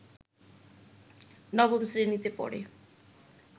নবম শ্রেণিতে পড়ে